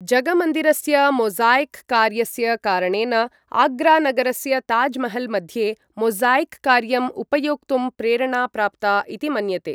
जगमन्दिरस्य mosaic कार्यस्य कारणेन आग्रा नगरस्य ताज् महल् मध्ये मोज़ाय्क् कार्यम् उपयोक्तुं प्रेरणा प्राप्ता इति मन्यते।